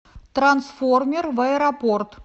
трансформер в аэропорт